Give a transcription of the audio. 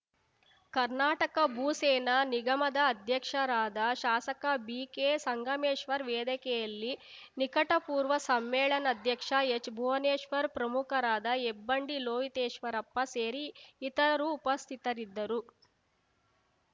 ಕರ್ನಾಟಕ ಭೂ ಸೇನಾ ನಿಗಮದ ಅಧ್ಯಕ್ಷರಾದ ಶಾಸಕ ಬಿಕೆ ಸಂಗಮೇಶ್ವರ್‌ ವೇದಿಕೆಯಲ್ಲಿ ನಿಕಟಪೂರ್ವ ಸಮ್ಮೇಳನಾಧ್ಯಕ್ಷ ಎಚ್‌ ಭುವನೇಶ್ವರ್‌ ಪ್ರಮುಖರಾದ ಹೆಬ್ಬಂಡಿ ಲೋಹಿತೇಶ್ವರಪ್ಪ ಸೇರಿ ಇತರರು ಉಪಸ್ಥಿತರಿದ್ದರು